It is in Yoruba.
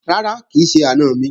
Rárá, kì í ṣe àna mi